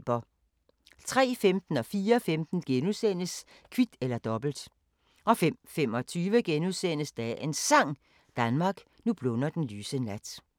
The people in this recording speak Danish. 03:15: Kvit eller Dobbelt * 04:15: Kvit eller Dobbelt * 05:25: Dagens Sang: Danmark, nu blunder den lyse nat *